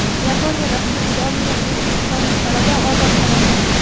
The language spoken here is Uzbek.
Yaponiyada hibsga olingan o‘zbekistonlik talaba ozod qilindi.